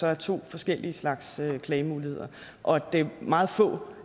er to forskellige slags klagemuligheder og at det er meget få